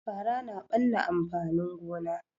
Fara na ɓanna amfanin gona